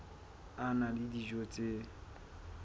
a na le dijo tse